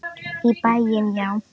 Í bæinn, já!